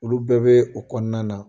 Olu bɛɛ bɛ a kɔnɔna na